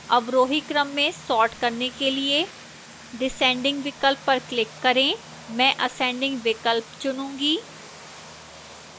अवरोही क्रम में sort करने के लिए descending विकल्प पर click करें मैं ascending विकल्प चुनूंगी